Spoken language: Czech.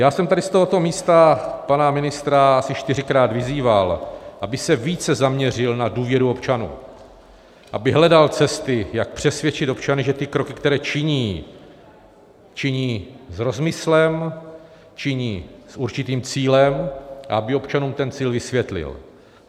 Já jsem tady z tohoto místa pana ministra asi čtyřikrát vyzýval, aby se více zaměřil na důvěru občanů, aby hledal cesty, jak přesvědčit občany, že ty kroky, které činí, činí s rozmyslem, činí s určitým cílem, a aby občanům ten cíl vysvětlil.